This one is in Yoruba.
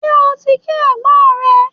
Ṣé o ti kí ẹ̀gbọ́n rẹ?